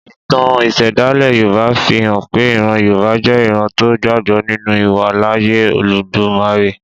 Ìtàn ìṣẹ̀dálẹ̀ Yorùbá fi hàn pé ìran Yorùbá jẹ́ ìran tó gbàgbọ́ ninu ìwàláàyè Olódùmarè